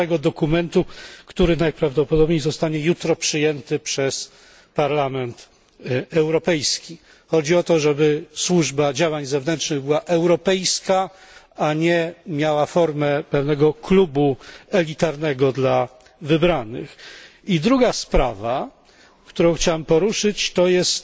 6 dokumentu, który najprawdopodobniej zostanie jutro przyjęty przez Parlament Europejski. Chodzi o to, żeby Służba Działań Zewnętrznych była europejska, a nie miała formę pewnego klubu elitarnego dla wybranych. I druga sprawa, którą chciałem poruszyć, to jest